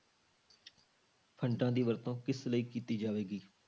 Funds ਦੀ ਵਰਤੋਂ ਕਿਸ ਲਈ ਕੀਤੀ ਜਾਵੇਗੀ?